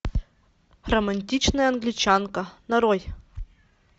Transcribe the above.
романтичная англичанка нарой